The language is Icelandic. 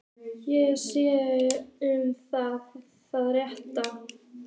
Sé viss um að það sé rétt.